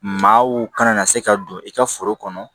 Maaw kana na se ka don i ka foro kɔnɔ